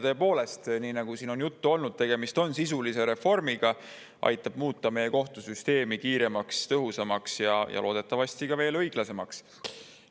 Tõepoolest, nii nagu siin on juttu olnud, tegemist on sisulise reformiga, mis aitab muuta meie kohtusüsteemi kiiremaks, tõhusamaks ja loodetavasti ka veel õiglasemaks.